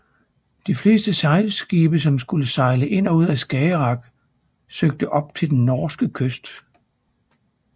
De fleste sejlskibe som skulle sejle ind og ud af Skagerrak søgte op til den norske kyst